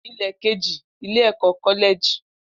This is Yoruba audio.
Ilẹ keji, Ile-ẹkọ Kọlẹji.